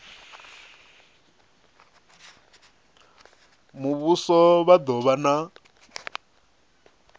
muvhuso vha do vha na